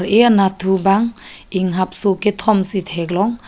ar eh anatthu bang inghapso kethom si theklong.